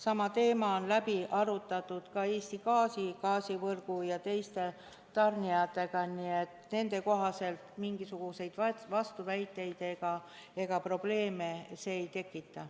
Sama teema on läbi arutatud ka Eesti Gaasi, Gaasivõrgu ja teiste tarnijatega ning nende arvates mingisuguseid vastuväiteid ega probleeme see ei tekita.